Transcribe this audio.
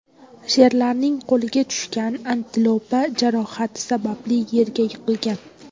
Sherlarning qo‘liga tushgan antilopa jarohati sababli yerga yiqilgan.